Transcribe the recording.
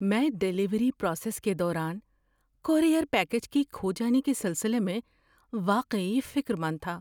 میں delivery process کے دوران کورئیر پیکیج کے کھو جانے کے سلسلے میں واقعی فکرمند تھا۔